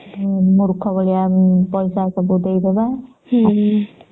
ମୂର୍ଖ ଭଳିଆ ପଇସା ସବୁ ଦେଇ ଦେବା ଆଉ